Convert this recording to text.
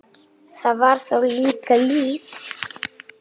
Það var þá líka líf!